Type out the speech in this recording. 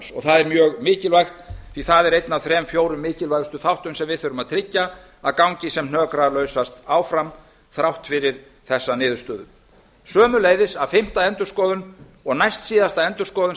prógramms það er mjög mikilvægt því að það er einn af þrem fjórum mikilvægustu þáttum sem við þurfum að tryggja að gangi sem hnökralausast áfram þrátt fyrir þessa niðurstöðu sömuleiðis að fimmta endurskoðun og næstsíðasta endurskoðun